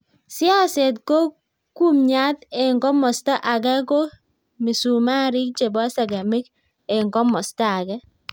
siaset ko kumnyaat eng komosta age ko misumarik chebo segemik eng komosta age